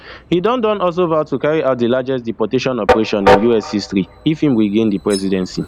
e don don also vow to carry out di largest deportation operation in us history if im regains di presidency